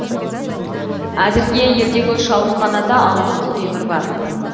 әзірге елдегі үш ауруханада алты құлтемір бар